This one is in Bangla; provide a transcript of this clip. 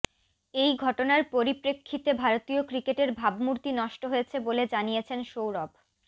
এই ঘটনার পরিপ্রেক্ষিতে ভারতীয় ক্রিকেটের ভাবমূর্তি নষ্ট হয়েছে বলে জানিয়েছেন সৌরভ